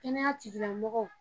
Kɛnɛya tigila mɔgɔw.